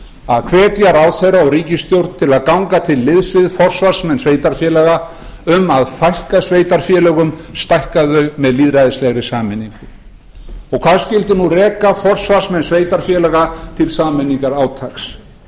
að hvetja ráðherra og ríkisstjórn til að ganga til liðs við forsvarsmenn sveitarfélaga um að fækka sveitarfélögum stækka þau með lýðræðislegri sameiningu og hvað skyldi nú reka forsvarsmenn sveitarfélaga til sameiningarátaks